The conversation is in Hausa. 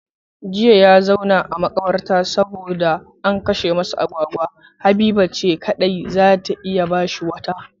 Jiya ya zauna a makabarta saboda an kashe masa agwagwa, Habiba ce kadai zata iya bashi wata